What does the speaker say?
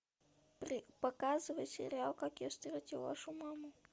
показывай сериал как я встретил вашу маму